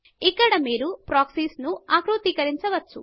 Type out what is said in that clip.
మీరు ఇక్కడ ప్రాక్సీస్ ను ఆకృతీకరించవచ్చు